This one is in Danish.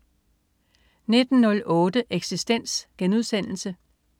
19.08 Eksistens*